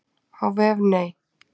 Á vef Nei.